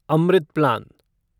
Amrit plan